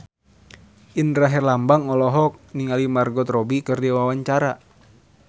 Indra Herlambang olohok ningali Margot Robbie keur diwawancara